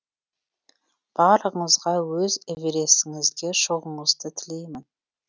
барлығыңызға өз эверестіңізге шығуыңызды тілеймін